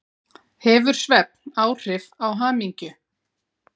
Hefur svefn áhrif á hamingju?